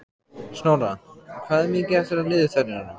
Snorra, hvað er mikið eftir af niðurteljaranum?